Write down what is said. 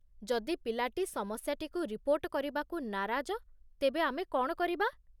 ଯଦି ପିଲାଟି ସମସ୍ୟାଟିକୁ ରିପୋର୍ଟ କରିବାକୁ ନାରାଜ ତେବେ ଆମେ କ'ଣ କରିବା?